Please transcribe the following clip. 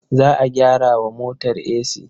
Za a gyara wa motar esi.